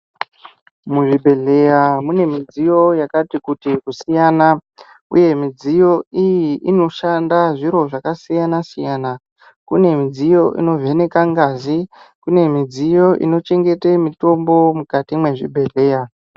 Muzvibhedhleya mune midziyo yakati kuti kusiyana uye midziyo iyi inoshanda zviro zvakasiyana siyana kune midziyo inovheneka ngazi kune midziyo inochengete mumitombo mukati mwezvibhedhleya.